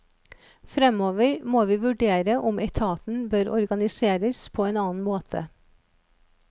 Fremover må vi vurdere om etaten bør organiseres på en annen måte.